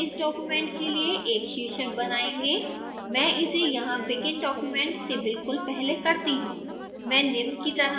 हम इस document के लिए एक शीर्षक बनायेंगे मैं इसे यहाँ begin document से बिल्कुल पहले करती हूँ